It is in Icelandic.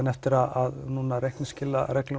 eftir að reiknings